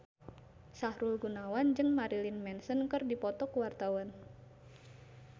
Sahrul Gunawan jeung Marilyn Manson keur dipoto ku wartawan